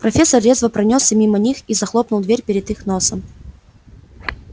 профессор резво пронёсся мимо них и захлопнул дверь перед их носом